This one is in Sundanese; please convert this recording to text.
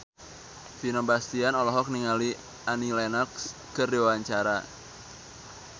Vino Bastian olohok ningali Annie Lenox keur diwawancara